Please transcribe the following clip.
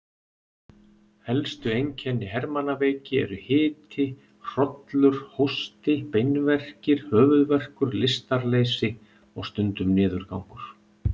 Helstu einkenni hermannaveiki eru hiti, hrollur, hósti, beinverkir, höfuðverkur, lystarleysi og stundum niðurgangur.